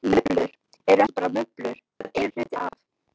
Mublur eru ekki bara mublur, þær eru hluti af.